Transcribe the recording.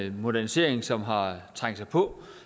en modernisering som har trængt sig på